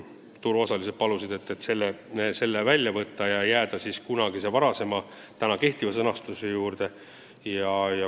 Turuosalised palusid selle välja võtta ja jääda senise sõnastuse juurde.